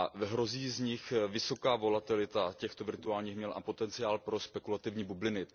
Hrozí vysoká volatilita těchto virtuálních měn a potenciál pro spekulativní bubliny.